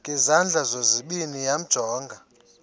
ngezandla zozibini yamjonga